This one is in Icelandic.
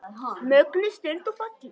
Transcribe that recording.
Mögnuð stund og falleg.